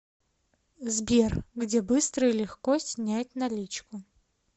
сбер где быстро и легко снять наличку